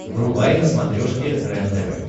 врубай на смотрешке рентв